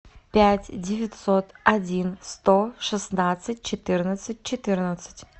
пять девятьсот один сто шестнадцать четырнадцать четырнадцать